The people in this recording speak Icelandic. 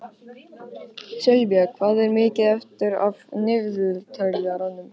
Sylvía, hvað er mikið eftir af niðurteljaranum?